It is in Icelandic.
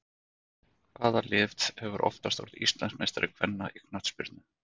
Hvaða lið hefur oftast orðið Íslandsmeistari kvenna í knattspyrnu?